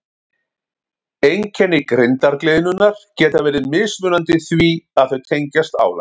Einkenni grindargliðnunar geta verið mismunandi því að þau tengjast álagi.